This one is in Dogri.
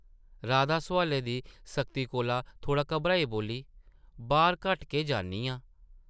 राधा सोआलें दी सख्ती कोला थोह्ड़ा घाबरियै बोल्ली, बाह्र घट्ट गै जन्नी आं ।